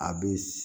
A bɛ